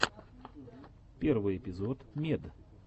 первый эпизод мед